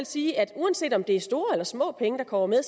sige at uanset om det er store eller små penge der kommer med